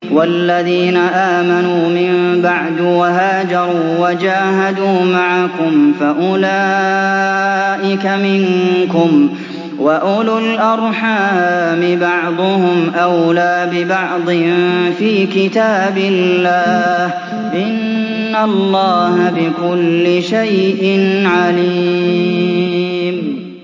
وَالَّذِينَ آمَنُوا مِن بَعْدُ وَهَاجَرُوا وَجَاهَدُوا مَعَكُمْ فَأُولَٰئِكَ مِنكُمْ ۚ وَأُولُو الْأَرْحَامِ بَعْضُهُمْ أَوْلَىٰ بِبَعْضٍ فِي كِتَابِ اللَّهِ ۗ إِنَّ اللَّهَ بِكُلِّ شَيْءٍ عَلِيمٌ